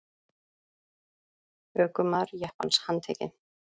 Ökumaður jeppans handtekinn